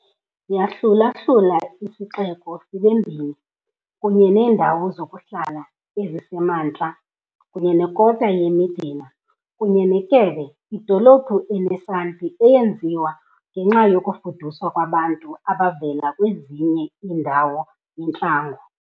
Yahlula-hlula isixeko sibe mbini, kunye neendawo zokuhlala ezisemantla kunye nekota ye-medina, kunye ne-kebbe, idolophu ene-santi eyenziwe ngenxa yokufuduswa kwabantu abavela kwezinye iindawo yintlango.